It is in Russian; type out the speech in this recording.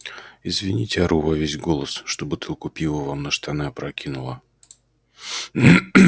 извините ору во весь голос что бутылку пива вам на штаны опрокинула